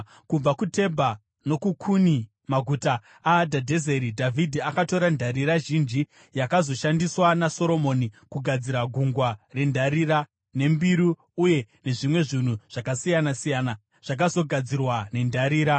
Kubva kuTebha nokuKuni, maguta aHadhadhezeri, Dhavhidhi akatora ndarira zhinji, yakazoshandiswa naSoromoni kugadzira gungwa rendarira, nembiru uye nezvimwe zvinhu zvakasiyana-siyana zvakazogadzirwa nendarira.